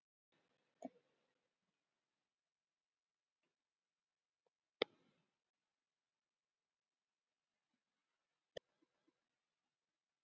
Framleiðslukostnaður heita vatnsins áætlaður innan við helmingur af kostnaði við hitun með olíu.